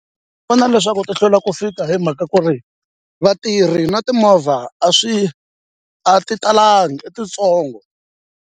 Ku na leswaku ti hlwela ku fika hi mhaka ku ri vatirhi na timovha a swi a ti talangi i titsongo.